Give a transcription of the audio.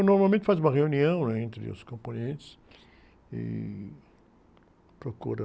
Normalmente faz uma reunião, né? Entre os componentes e procura...